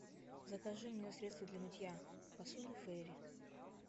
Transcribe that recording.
закажи мне средство для мытья посуды фейри